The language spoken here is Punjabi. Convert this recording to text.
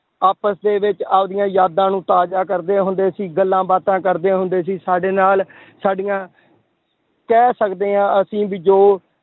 ਆਪਸ ਦੇ ਵਿੱਚ ਆਪਦੀਆਂ ਯਾਦਾਂ ਨੂੰ ਤਾਜ਼ਾ ਕਰਦੇ ਹੁੰਦੇ ਸੀ ਗੱਲਾਂ ਬਾਤਾਂ ਕਰਦੇ ਹੁੰਦੇ ਸੀ, ਸਾਡੇ ਨਾਲ ਸਾਡੀਆਂ ਕਹਿ ਸਕਦੇ ਹਾਂ ਅਸੀਂ ਵੀ ਜੋ